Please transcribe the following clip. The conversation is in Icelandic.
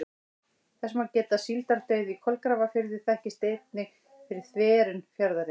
Þess má geta að síldardauði í Kolgrafafirði þekktist einnig fyrir þverun fjarðarins.